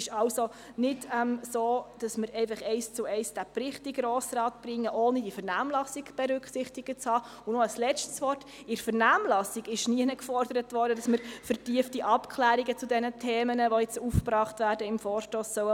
Ich war zum Teil schon ein bisschen erstaunt, aber wir haben diese Versprechen gehört, und das «Tagblatt des Grossen Rates» wird geschrieben.